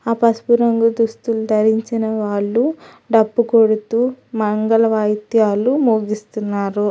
ఆ పసుపు రంగు దుస్తులు ధరించిన వాళ్ళు డప్పు కొడుతూ మంగళ వాయిద్యాలు మొగిస్తున్నారు.